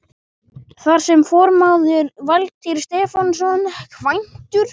Þar er formaður Valtýr Stefánsson, kvæntur